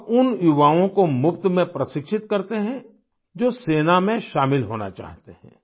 वह उन युवाओं को मुफ्त में प्रशिक्षित करते हैं जो सेना में शामिल होना चाहते हैं